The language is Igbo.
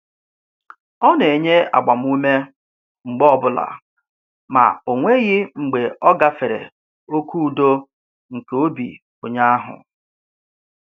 Ọ na-enye agbamume mgbe ọbụla ma o nweghị mgbe ọ gafere oke udo nke obi onye ahụ.